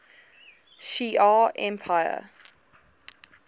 shi ar empire